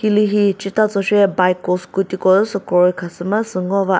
hilühi chetazho che bike ko scooty ko sü kroi khasü mazüsü ngo ba.